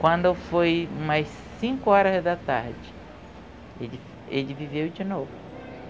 Quando foi umas cinco horas da tarde, ele ele viveu de novo.